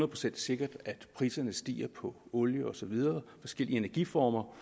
procent sikkert at priserne stiger på olie og så videre og forskellige energiformer